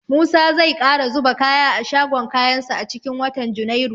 Musa zai ƙara zuba kaya a shagon kayansa a cikin watan junairu.